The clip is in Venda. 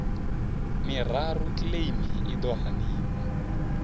miraru kiḽeimi i ḓo haniwa